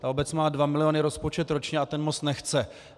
Ta obec má dva miliony rozpočet ročně a ten most nechce.